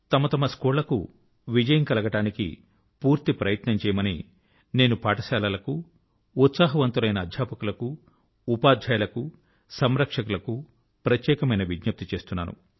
తమ తమ స్కూళ్ళకు విజయం కలగడానికి పూర్తి ప్రయత్నం చేయమని నేను పాఠశాలల కు ఉత్సాహవంతులైన అధ్యాపకుల కు ఉపాధ్యాయుల కు సంరక్షకుల కు ప్రత్యేకమైన విజ్ఞప్తి చేస్తున్నాను